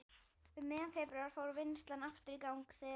Um miðjan febrúar fór vinnslan aftur í gang þegar